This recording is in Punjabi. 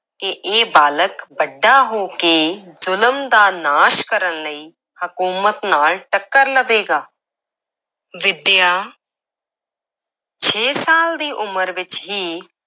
ਕਿ ਇਹ ਬਾਲਕ ਵੱਡਾ ਹੋ ਕੇ ਜ਼ੁਲਮ ਦਾ ਨਾਸ਼ ਕਰਨ ਲਈ ਹਕੂਮਤ ਨਾਲ ਟੱਕਰ ਲਵੇਗਾ ਵਿਦਿਆ ਛੇ ਸਾਲ ਦੀ ਉਮਰ ਵਿੱਚ ਹੀ